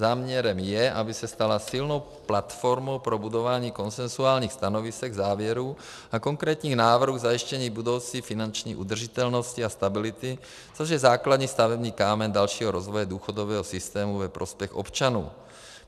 Záměrem je, aby se stala silnou platformou pro budování konsenzuálních stanovisek, závěrů a konkrétních návrhů k zajištění budoucí finanční udržitelnosti a stability, což je základní stavební kámen dalšího rozvoje důchodového systému ve prospěch občanů.